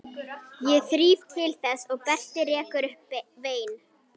Ég þríf til þess og Berti rekur upp vein.